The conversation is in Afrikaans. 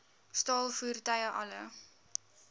staal voertuie alle